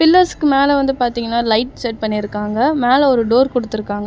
பில்லர்ஸ்க்கு மேல வந்து பாத்தீங்கன்னா லைட் செட் பண்ணிருக்காங்க மேல ஒரு டோர் குடுத்து இருக்காங்க.